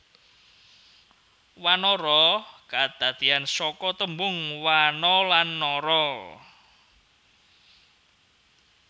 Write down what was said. Wanara kadadeyan saka tembung wana lan nara